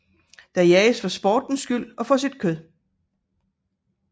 Den jages for sportens skyld og for sit kød